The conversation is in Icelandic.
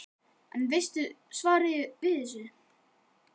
Þorbjörn: En veistu svarið við þessu?